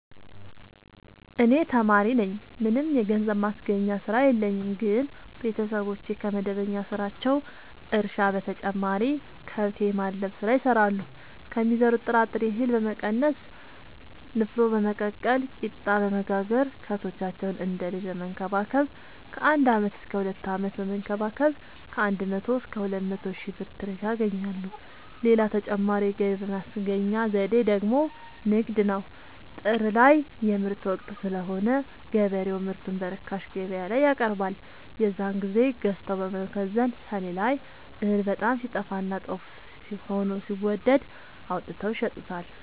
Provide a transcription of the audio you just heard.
እኔ ተማሪነኝ ምንም የገንዘብ ማስገኛ ስራ የለኝም ግን ቤተሰቦቼ ከመደበኛ ስራቸው እርሻ በተጨማሪ ከብት የማድለብ ስራ ይሰራሉ ከሚዘሩት ጥራጥሬ እሀል በመቀነስ ንፋኖ በመቀቀል ቂጣበወጋገር ከብቶቻቸውን እንደ ልጅ በመከባከብ ከአንድ አመት እስከ ሁለት አመት በመንከባከብ ከአንድ መቶ እስከ ሁለት መቶ ሺ ብር ትርፍ ያገኛሉ። ሌላ ተጨማሪ የገቢ ማስገኛ ዘዴ ደግሞ ንግድ ነው። ጥር ላይ የምርት ወቅት ስለሆነ ገበሬው ምርቱን በርካሽ ገበያላይ ያቀርባል። የዛን ግዜ ገዝተው በመከዘን ሰኔ ላይ እህል በጣም ሲጠፋና ጦፍ ሆኖ ሲወደድ አውጥተው ይሸጡታል።